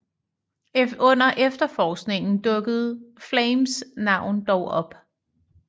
Under efterforskningen dukkede Flames navn dog op